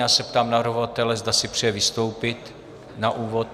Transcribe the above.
Já se ptám navrhovatele, zda si přeje vystoupit na úvod.